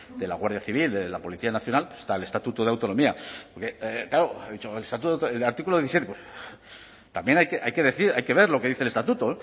de la guardia civil la policía nacional está el estatuto de autonomía claro ha dicho el artículo diecisiete pues también hay que decir hay que ver lo que dice el estatuto